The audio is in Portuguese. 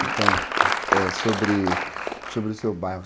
Então, sobre sobre o seu bairro.